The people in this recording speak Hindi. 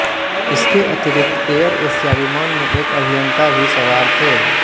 इसके अतिरिक्त एयर एशिया विमान में एक अभियंता भी सवार थे